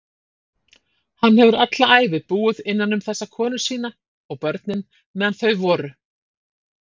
Hann hefur alla ævi búið innanum þessa konu sína- og börnin, meðan þau voru.